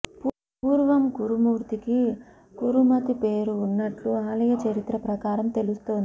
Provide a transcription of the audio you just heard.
పూర్వం కురుమూర్తికి కురుమతి పేరు ఉన్నట్లు ఆలయ చరిత్ర ప్రకారం తెలుస్తోంది